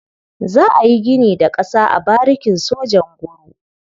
Za a yi gini da ƙasa a barikin sojan Nguru.